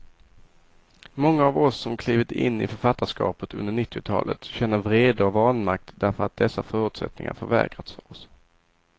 Många av oss som klivit in i författarskapet under nittiotalet känner vrede och vanmakt därför att dessa förutsättningar förvägrats oss.